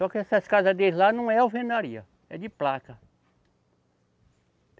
Só que essas casa deles lá não é alvenaria, é de placa.